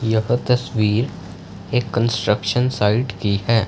यह तस्वीर एक कंस्ट्रक्शन साइट की है।